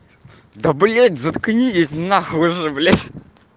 да блять заткнись нахуй уже блять